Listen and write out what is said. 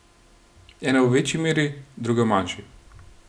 Ene v večji meri, druge v manjši.